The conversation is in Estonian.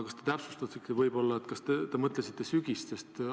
Kas te täpsustate: kas te mõtlesite sügist?